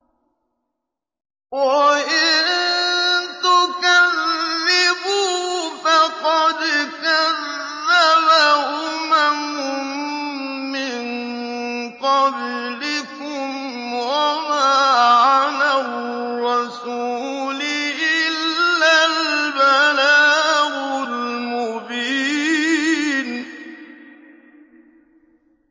وَإِن تُكَذِّبُوا فَقَدْ كَذَّبَ أُمَمٌ مِّن قَبْلِكُمْ ۖ وَمَا عَلَى الرَّسُولِ إِلَّا الْبَلَاغُ الْمُبِينُ